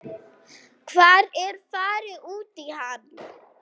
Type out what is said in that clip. Hvar er farið út í hann?